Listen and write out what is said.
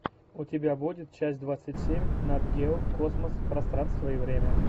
у тебя будет часть двадцать семь нат гео космос пространство и время